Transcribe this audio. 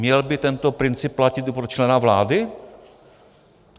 Měl by tento princip platit i pro člena vlády?